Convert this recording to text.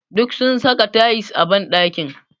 Duk sun saka tayils a ɓanɗakin.